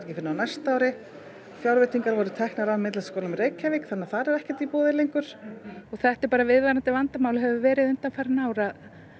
fyrr en á næsta ári fjárveitingar voru teknar af Myndlistarskólanum í Reykjavík þannig að þar er ekkert í boði lengur þetta er bara viðvarandi vandamál og hefur verið undanfarin ár það